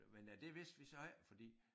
Men af det vidste vi så ikke fordi